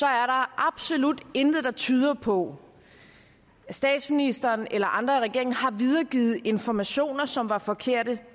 absolut intet der tyder på at statsministeren eller andre i regeringen bevidst har videregivet informationer som var forkerte